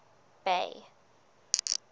bay